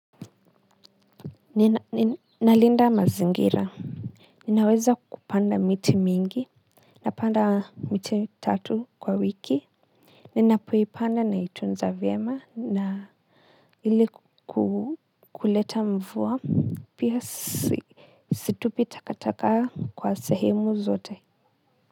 Nalinda mazingira, ninaweza kupanda miti mingi napanda miti tatu kwa wiki ninapoipanda naitunza vyema na ili kukuleta mvua pia si situpi takataka kwa sehemu zote.